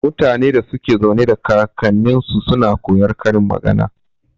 Mutanen da suke zaune da kaknninsu suna koyar karin magana.